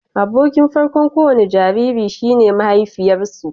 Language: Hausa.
Abokin farko'n ko wani jariri shi ne mahaifiyarsu